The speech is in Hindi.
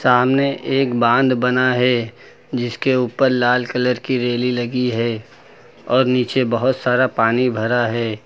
सामने एक बांध बना है जिसके ऊपर लाल कलर की रेली लगी है और नीचे बहोत सारा पानी भरा है।